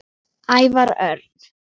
Ævar Örn